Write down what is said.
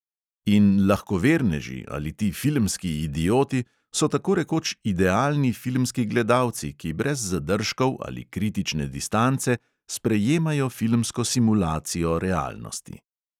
In lahkoverneži ali ti filmski idioti so tako rekoč idealni filmski gledalci, ki brez zadržkov ali kritične distance sprejemajo filmsko simulacijo realnosti.